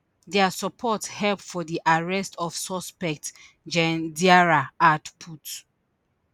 dia support help for di arrest of suspects gen diarra add put